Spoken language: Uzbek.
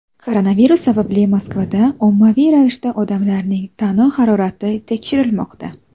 Koronavirus sababli Moskvada ommaviy ravishda odamlarning tana harorati tekshirilmoqda.